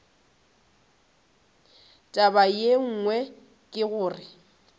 taba ye nngwe ke gore